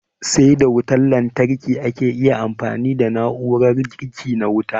Sai da wutan lantarki ake iya amfani da na'urar girki na wuta.